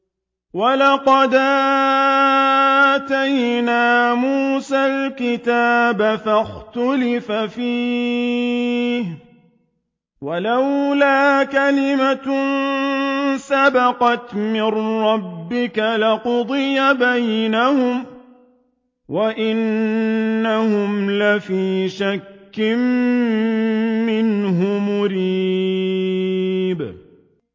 وَلَقَدْ آتَيْنَا مُوسَى الْكِتَابَ فَاخْتُلِفَ فِيهِ ۚ وَلَوْلَا كَلِمَةٌ سَبَقَتْ مِن رَّبِّكَ لَقُضِيَ بَيْنَهُمْ ۚ وَإِنَّهُمْ لَفِي شَكٍّ مِّنْهُ مُرِيبٍ